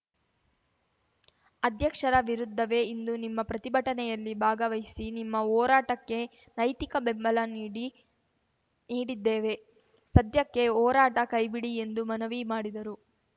ಅಧ್ಯಕ್ಷರ ವಿರುದ್ಧವೇ ಇಂದು ನಿಮ್ಮ ಪ್ರತಿಭಟನೆಯಲ್ಲಿ ಭಾಗವಹಿಸಿ ನಿಮ್ಮ ಹೋರಾಟಕ್ಕೆ ನೈತಿಕ ಬೆಂಬಲ ನೀಡಿ ನೀಡಿದ್ದೇವೆ ಸದ್ಯಕ್ಕೆ ಹೋರಾಟ ಕೈಬಿಡಿ ಎಂದು ಮನವಿ ಮಾಡಿದರು